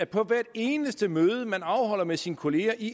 på hvert eneste møde den afholder med sine kollegaer i